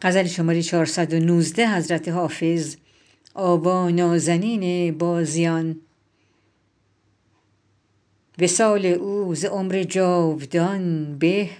وصال او ز عمر جاودان به